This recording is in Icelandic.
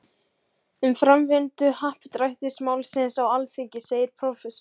Um framvindu happdrættis-málsins á Alþingi segir prófessor